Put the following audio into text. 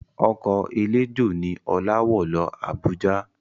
Ọkọ̀ eléjò ni Ọlá wọ̀ lọ Abuja